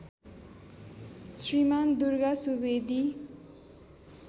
Shriman Durga Subedi